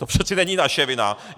To přece není naše vina!